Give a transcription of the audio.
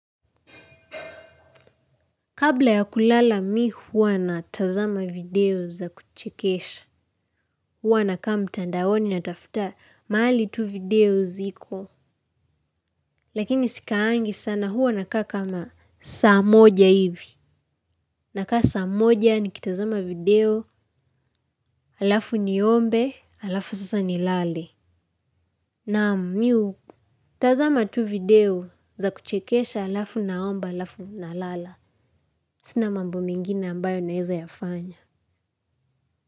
Kabla ya kulala mi huwa natazama video za kuchekesha, huwa nakaa mtandaoni natafuta, mahali tu video ziko. Lakini sikaangi sana huwa nakaa kama saa moja hivi. Nakaa saa moja ni kitazama video, alafu niombe, alafu sasa nilale. Naam mi hutazama tu video za kuchekesha, alafu naomba, alafu nalala. Sina mambo mingine ambayo naezayafanya.